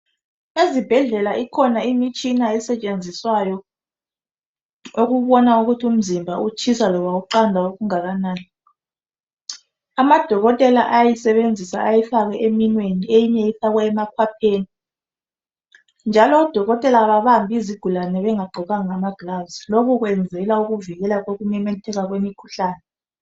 Ezibhedlela ikhona imitshina esetshenziswayo yokubona ukuthi umzimba utshisa noma uqanda okungakanani. Amadokotela ayayisebenzisa ayifake eminweni eminye ifakwa emakhwapheni. Odokotela ababambi izigulane bengagqokanga ma gloves lokho kwenzela ukuvikela ukumemetheka kwemikhuhlane.